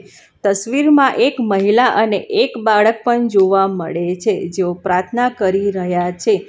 તસ્વીરમાં એક મહિલા અને એક બાળક પણ જોવા મળે છે જેઓ પ્રાર્થના કરી રહ્યા છે.